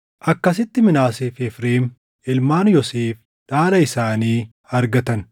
Akkasitti Minaasee fi Efreem, ilmaan Yoosef dhaala isaanii argatan.